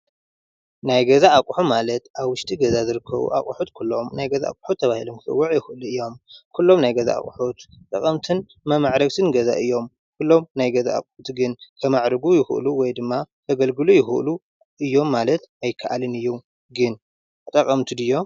ናይ ገዛ ኣቁሑ ማለት ኣብ ዉሽጢ ገዛ ዝርከቡ ኣቁሑት ኩሎም ናይ ገዛ ኣቑሑት ተባሂሎም ክፅዉዑ ይክእሉ እዮም:: ኩሎም ናይ ገዛ ኣቁሑት ጠቐምትን መማዕረግትን ገዛ እዮም:: ኩሎም ናይ ገዛ ኣቁሑት ግን ከማዕርጉ ይክእሉ ወይ ድማ ከገልግሉ ይክእሉ እዮም ማለት ኣይከኣልን እዩ ግን ጠቀምቲ ድዮም ?